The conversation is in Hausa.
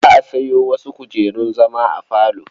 Za a sayo wasu kujerun zama a falo.